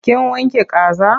Kin wanke kaza?